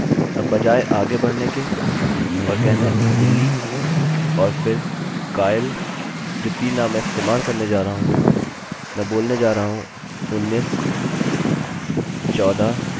अब बजाय आगे बढ़ने के और कहना billy और फिर kyle जो तीन नाम मैं इस्तेमाल करने जा रहा हूँ मैं बोलने जा रहा हूँ उन्नीसचौदह और अट्ठारह